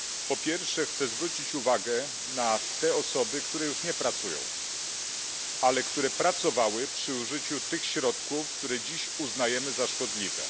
Po pierwsze, chcę zwrócić uwagę na te osoby, które już nie pracują, ale które pracowały przy użyciu tych środków, które dziś uznajemy za szkodliwe.